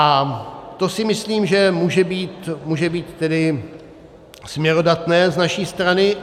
A to si myslím, že může být tedy směrodatné z naší strany.